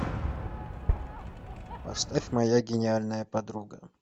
поставь моя гениальная подруга